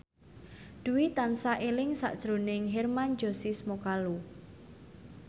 Dwi tansah eling sakjroning Hermann Josis Mokalu